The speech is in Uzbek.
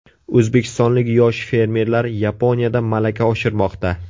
O‘zbekistonlik yosh fermerlar Yaponiyada malaka oshirmoqda.